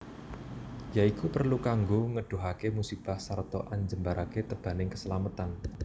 Ya iku perlu kanggo ngedohake musibah sarta anjembarake tebaning keslametan